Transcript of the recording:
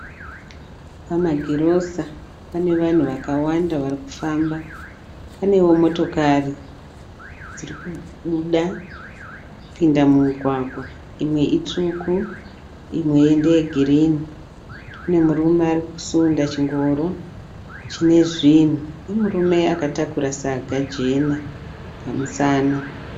Pama girosa pane vanhu vakawanda vari kufamba, panewo motokari dziri kubuda kupinda mumugwagwa, imwe itsvuku imwe ndeye girini. Kune murume ari kusunda chingoro chine zvinhu nemurume akatakura saga jena pamusana.